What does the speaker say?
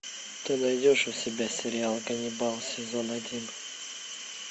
ты найдешь у себя сериал ганнибал сезон один